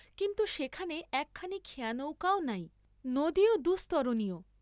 কিন্তু সেখানে একখানি খেয়ানৌকাও নাই, নদীও দুস্তরণীয়।